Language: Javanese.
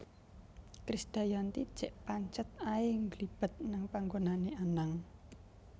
Krisdayanti jek pancet ae ngglibet nang panggonane Anang